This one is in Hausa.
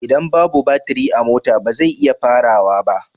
Idan babu baturi a mota ba zai iya farawa ba